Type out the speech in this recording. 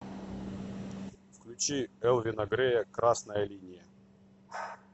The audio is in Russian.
включи элвина грея красная линия